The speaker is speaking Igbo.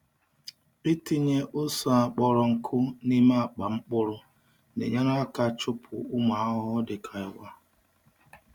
Ịtinye ose a kpọrọ nkụ n’ime akpa mkpụrụ na-enyere aka chụpụ ụmụ ahụhụ dịka ịwa.